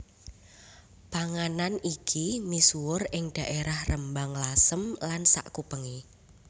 Panganan iki misuwur ing dhaerah Rembang Lasem lan sakupenge